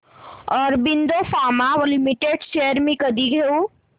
Aurobindo pharma limited shares मी कधी घेऊ